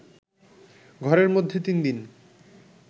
ঘরের মধ্যে ৩দিন